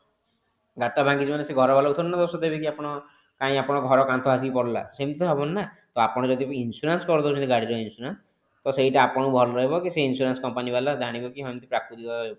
ଗାଡି ଟା ଭାଙ୍ଗିଛି ମାନେ ସେ ଘର ବାଲା କୁ ଥୋଡି ନା ଦୋଷ ଦେବେ କି ଆପଣ କାଇଁ ଆପଣଙ୍କ ଘର କାନ୍ଥ ଆସିକି ପଡିଲା ସେମିତି ତ ହବନି ନା ତ ଆପଣ ଯଦି ବି insurance କରିଦଉଛନ୍ତି ଗାଡି ର insurance ତ ସେଇଟା ଆପଣଙ୍କୁ ଭଲ ରହିବ କି ସେ insurance company ବାଲା ଜାଣିବେ କି ହଁ ଏମିତି କି ପ୍ରକୂତିକ